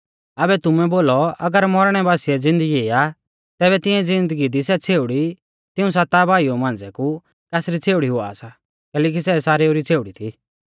ऐबै तुमै बोलौ अगर मौरणै बासिऐ ज़िन्दगी आ तैबै तिऐं ज़िन्दगी दी सै छ़ेउड़ी तिऊं साता भाइऊ मांझ़िऐ कु कासरी छ़ेउड़ी हुआ सा कैलैकि सै सारेउ री छ़ेउड़ी थी